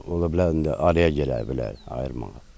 Gəlin də ya ona ola bilər indi araya girə bilər ayırmağa.